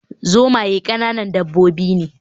Zomaye ƙananan dabbobi ne